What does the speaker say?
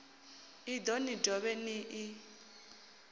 iḽo ni dovhe ni ḽi